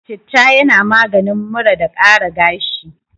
Citta yana maganin mura da ƙara gashi.